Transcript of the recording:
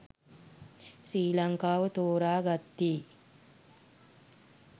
ශ්‍රී ලංකාව තෝරා ගත්තේ